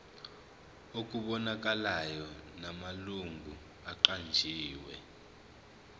okubonakalayo namalungu aqanjiwe